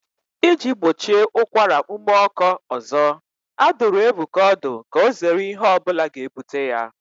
Iji gbochie ụkwara ume ọkụ ọzọ, a dụrụ Ebuka ọdụ ka ọ zere ihe ọ bụla ga-ebute ya